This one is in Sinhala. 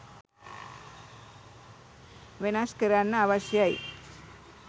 වෙනස් කරන්න අවශ්‍යයි.